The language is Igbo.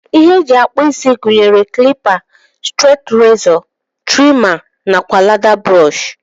Ihe ndi eji akpụ isi gunyere klipa, strati rizọ, trima nakwa leda brọsh.